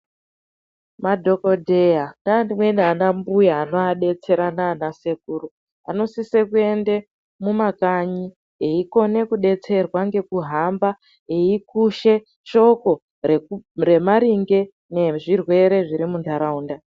Madhokodheya neamweni anambuya anovabetsera naanasekuru vanosise kuende mumakanyi eikone kudetserwa ngekuhamba veikushe shoko remaringe ngezvirwere zviri munharaunda.